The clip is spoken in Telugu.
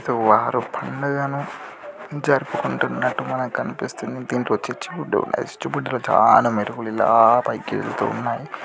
ఇక్కడ వారు పండగను జరుపుకుంటున్నాట్టు మనకు కనిపిస్తుంది ఇక్కడ దీంట్లో చిచ్చుబుడ్డి చిచ్చుబుడ్డి చాలా మెరుపులు ఇలా పైకి వెళ్తున్నాయి.